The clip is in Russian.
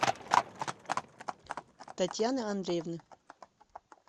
татьяны андреевны